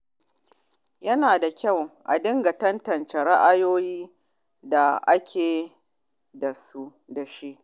Yana da kyau a dinga tantance ra’ayoyin da ake da su.